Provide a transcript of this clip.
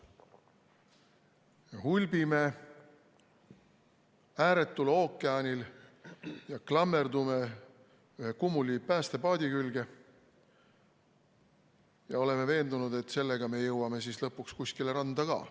Me hulbime ääretul ookeanil, me klammerdume kummuli oleva päästepaadi külge ja oleme veendunud, et sellega me jõuame lõpuks kuskile randa ka.